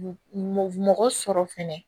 Mɔgɔ sɔrɔ fɛnɛ